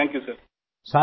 GRP